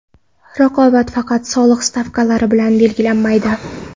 Raqobat faqat soliq stavkalari bilan belgilanmaydi.